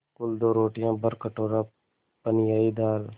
कुल दो रोटियाँ भरकटोरा पनियाई दाल